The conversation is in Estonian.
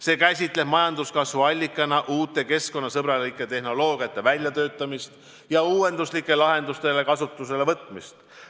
See käsitleb majanduskasvu allikana uue keskkonnasõbraliku tehnoloogia väljatöötamist ja uuenduslike lahenduste kasutuselevõtmist.